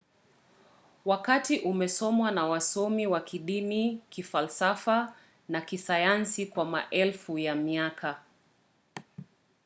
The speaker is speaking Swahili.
wakati umesomwa na wasomi wa kidini kifalsafa na kisayansi kwa maelfu ya miaka